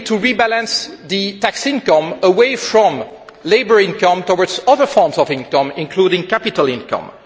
We need to rebalance tax income away from labour income towards other forms of income, including capital income.